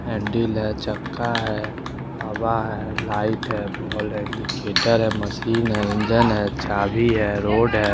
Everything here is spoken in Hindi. हेंडिल है छक्का है हवा है लाइट है बॉल है मशीन है इंजन है चाबी है रोड है ।